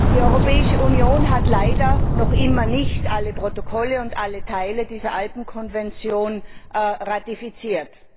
Die Europäische Union hat leider noch immer nicht alle Protokolle und alle Teile dieser Alpenkonvention ratifiziert.